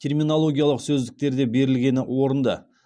терминологиялық сөздіктерде берілгені орынды